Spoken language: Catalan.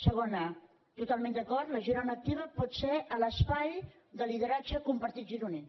segona totalment d’acord la girona activa pot ser l’espai de lideratge compartit gironí